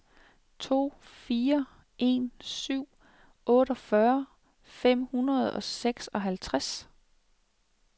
to fire en syv otteogfyrre fem hundrede og seksoghalvtreds